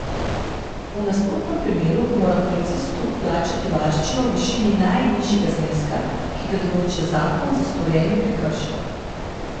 V nasprotnem primeru mora policistu plačati varščino v višini najnižjega zneska, ki ga določa zakon za storjeni prekršek.